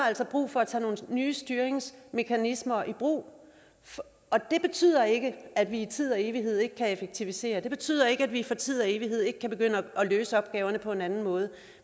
altså brug for at tage nogle nye styringsmekanismer i brug det betyder ikke at vi i tid og evighed ikke kan effektivisere det betyder ikke at vi for tid og evighed ikke kan begynde at løse opgaverne på en anden måde